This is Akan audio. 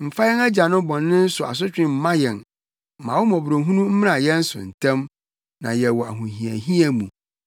Mfa yɛn agyanom bɔne so asotwe mma yɛn; ma wo mmɔborɔhunu mmra yɛn so ntɛm, na yɛwɔ ahohiahia mu.